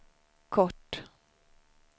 kort